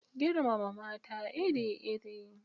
Girmama mata iri-iri